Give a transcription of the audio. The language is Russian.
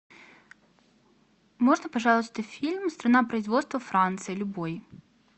можно пожалуйста фильм страна производства франция любой